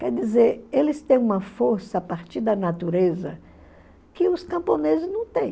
Quer dizer, eles têm uma força a partir da natureza que os camponeses não têm.